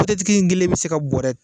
tigi in kelen bi se ka bɔrɛ